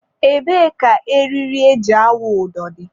ebee ka eriri e ji awụ ụdọ dị?